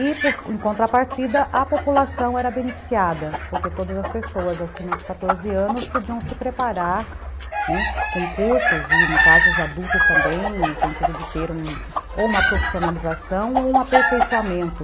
E, em contrapartida, a população era beneficiada, porque todas as pessoas acima de quatorze anos podiam se preparar com cursos, e no caso os adultos também, no sentido de ter um, ou uma profissionalização ou um aperfeiçoamento.